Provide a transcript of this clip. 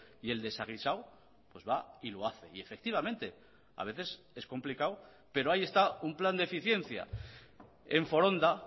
y el desaguisado pues va y lo hace y efectivamente a veces es complicado pero ahí está un plan de eficiencia en foronda